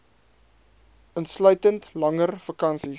insluitend langer vakansies